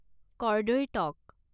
কৰ্দৈৰ টক